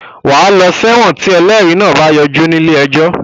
Wàá lọ sẹ́wọ̀n tí ẹlẹ́rìí náà bá yọjú ní ilé ẹjọ́